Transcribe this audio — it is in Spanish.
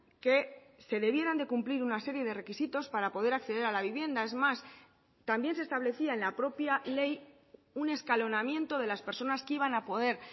que se debieran de cumplir una serie de requisitos para poder acceder a la vivienda es más también se establecía en la propia ley un escalonamiento de las personas que iban a poder